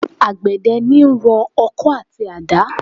Àgbedẹ ń rọ ọkọ àti àdá.